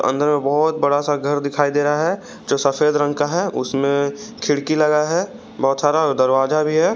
अंदर मे बहोत बड़ा सा घर दिखाई दे रहा है जो सफेद रंग का है उसमें खिड़की लगा है बहोत सारा और दरवाजा भी है।